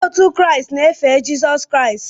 Ndị Kraịst na-efe Jizọs Kraịst